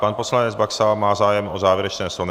Pan poslanec Baxa má zájem o závěrečné slovo?